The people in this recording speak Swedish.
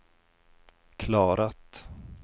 klarat